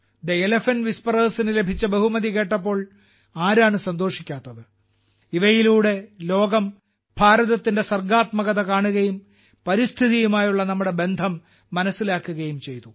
the elephant whispers നു ലഭിച്ച ബഹുമതി കേട്ടപ്പോൾ ആരാണ് സന്തോഷിക്കാത്തത് ഇവയിലൂടെ ലോകം ഭാരതത്തിന്റെ സർഗ്ഗാത്മകത കാണുകയും പരിസ്ഥിതിയുമായുള്ള നമ്മുടെ ബന്ധം മനസ്സിലാക്കുകയും ചെയ്തു